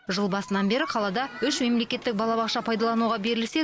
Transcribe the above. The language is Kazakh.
жыл басынан бері қалада үш мемлекеттік балабақша пайдалануға берілсе